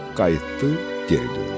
Qayıtdı, geri döndü.